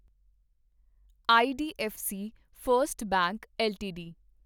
IDFC First Bank LTD